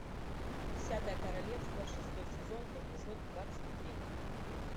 десятое королевство шестой сезон эпизод двадцать три